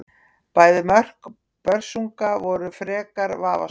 Bæði mörk Börsunga voru frekar vafasöm.